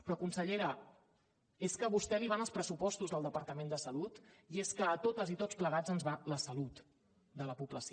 però consellera és que a vostè li van els pressupostos del departament de salut i és que a totes i a tots plegats ens hi va la salut de la població